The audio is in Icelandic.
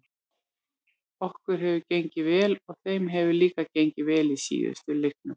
Okkur hefur gengið vel og þeim hefur líka gengið vel í síðustu leiknum.